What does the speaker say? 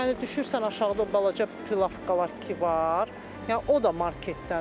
Yəni düşürsən aşağıda o balaca pılavkalar ki var, yəni o da marketdən.